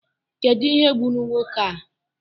Kedụ ihe gburu nwoke a?